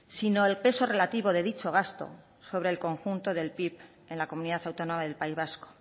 sino el peso relativo de dicho gasto sobre el conjunto del pib en la comunidad autónoma del país vasco